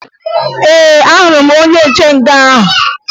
Ee, ahụrụ m onye nche nga ahụ